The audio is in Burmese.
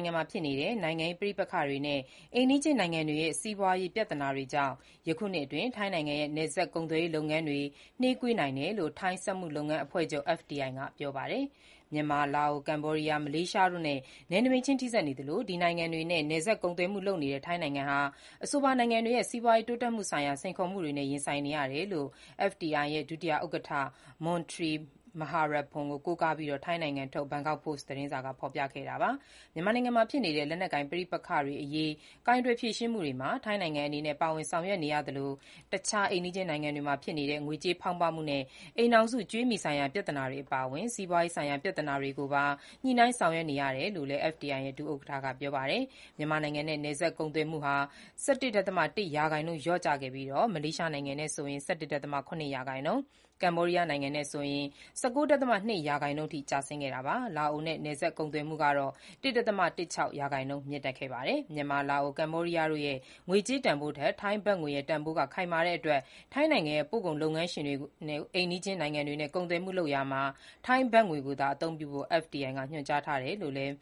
င်ငံမှာဖြစ်နေတဲ့ နိုင်ငံရေး ပဋိပက္ခတွေနဲ့ အိမ်နီးချင်းနိုင်ငံတွေရဲ့ စီးပွားရေးပြဿနာတွေကြောင့် ယခုနှစ်အတွင်း ထိုင်းနိုင်ငံရဲ့ နယ်စပ်ကုန်သွယ်ရေး လုပ်ငန်းတွေ နှေးကွေးနိုင်တယ်လို့ ထိုင်းစက်မှုလုပ်ငန်း အဖွဲ့ချုပ် (FTI) က ပြောပါတယ်။ မြန်မာ၊ လာအို၊ ကမ္ဘောဒီးယား၊ မလေးရှားတို့နဲ့ နယ်နိမိတ်ချင်း ထိစပ်နေသလို၊ ဒီနိုင်ငံတွေနဲ့ နယ်စပ်ကုန်သွယ်မှု လုပ်နေတဲ့ ထိုင်းနိုင်ငံဟာ အဆိုပါနိုင်ငံတွေရဲ့ စီးပွားရေးတိုးတက်မှုဆိုင်ရာ စိန်ခေါ်မှုတွေနဲ့ ရင်ဆိုင်နေရတယ်လို့ FTI ရဲ့ ဒုဥက္ကဋ္ဌ မွန်ထရီမဟာပလပ်ပွန် ကို ကိုးကားပြီး ထိုင်းနိုင်ငံထုတ် ဘန်ကောက်ပို့စ်သတင်းက ဖော်ပြခဲ့တာပါ။ မြန်မာနိုင်ငံမှာဖြစ်နေတဲ့ လက်နက်ကိုင်ပဋိပက္ခတွေအရေး ကိုင်တွယ်ဖြေရှင်းမှုတွေမှာ ထိုင်းနိုင်ငံအနေနဲ့ ပါဝင်ဆောင်ရွက်နေရသလို၊ အခြားအိမ်နီးချင်းနိုင်ငံတွေမှာဖြစ်နေတဲ့ ငွေကြေးဖောင်းပွမှုနဲ့ အိမ်ထောင်စု ကြွေးမြီဆိုင်ရာပြဿနာတွေအပါအဝင် စီးပွားရေးဆိုင်ရာ ပြဿနာတွေကိုပါ ညှိနှိုင်းဆောင်ရွက်နေရတယ်လို့လည်း FTI ရဲ့ ဒုဥက္ကဋ္ဌ က ပြောပါတယ်။မြန်မာနိုင်ငံနဲ့ နယ်စပ်ကုန်သွယ်မှုဟာ ၁၁ ဒသမ ၁ ရာခိုင်နှုန်း လျော့ကျခဲ့ပြီး၊ မလေးရှားနိုင်ငံနဲ့ဆိုရင် ၁၁.၇ ရာခိုင်နှုန်း၊ ကမ္ဘောဒီးယားနဲ့ဆိုရင် ၁၉.၂ ရာခိုင်နှုန်းအထိ ကျဆင်းခဲ့တာပါ။ လာအိုနဲ့ နယ်စပ်ကုန်သွယ်မှု ၁.၁၆ ရာခိုင်နှုန်းမြင့်တက်ခဲ့ပါတယ်။ မြန်မာ၊ လာအို၊ ကမ္ဘောဒီးယားတို့ရဲ့ ငွေကြေးတန်ဖိုးထက် ထိုင်းဘတ်ငွေရဲ့ တန်ဖိုးက ခိုင်မာတဲ့အတွက် ထိုင်းနိုင်ငံရဲ့ ပို့ကုန်လုပ်ငန်းရှင်တွေကို အိမ်နီးချင်းနိုင်ငံတွေနဲ့ ကုန်သွယ်မှုလုပ်ရာမှာ ထိုင်းဘတ်ငွေကိုသာ အသုံးပြုဖို့ FTI ကညွှန်ကြားထားတယ်လို့လည်း